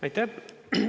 Aitäh!